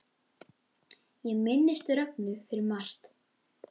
Ég minnist Rögnu fyrir margt.